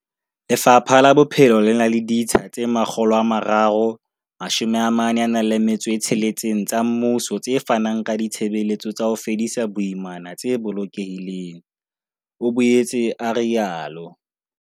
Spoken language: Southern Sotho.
Lefapha la Bophelo le na le ditsha tse 346 tsa mmuso tse fanang ka ditshebeletso tsa ho fedisa boimana tse bolokehileng, o boetse a rialo.